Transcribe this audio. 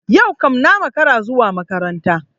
Yau kam na makara zuwa makaranta.